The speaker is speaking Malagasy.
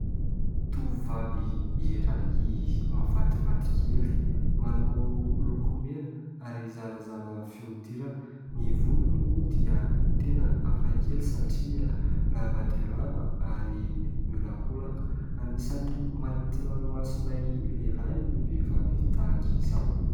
Tovovavy iray mahafatifaty kely manao lokomena ary zarazara fihodirana. Ny volony moa dia tena hafakely satria lava dia lava ary miolakolaka. Anisan'ny manintona ny masonay lehilahy ny vehivavy tahaka izao.